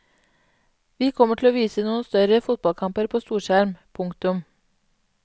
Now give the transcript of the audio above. Vi kommer til å vise noen større fotballkamper på storskjerm. punktum